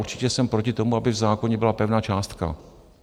Určitě jsem proti tomu, aby v zákoně byla pevná částka.